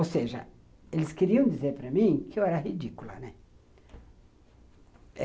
Ou seja, eles queriam dizer para mim que eu era ridícula, né?